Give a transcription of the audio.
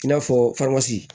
I n'a fɔ